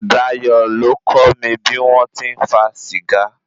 Dayọ̀ ló kọ́ mi bí wọn ti ń fa Sìgá.